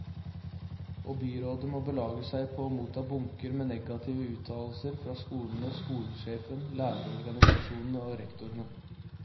Og byrådet må belage seg på å motta bunker med negative uttalelser fra skolene, skolesjefen, lærerorganisasjonene og rektorene.